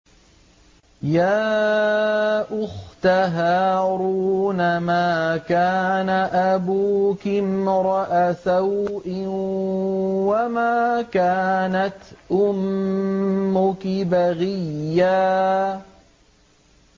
يَا أُخْتَ هَارُونَ مَا كَانَ أَبُوكِ امْرَأَ سَوْءٍ وَمَا كَانَتْ أُمُّكِ بَغِيًّا